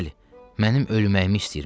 Bəli, mənim ölməyimi istəyirmiş.